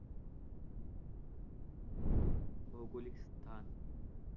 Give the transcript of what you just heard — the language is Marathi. भौगोलिक स्थान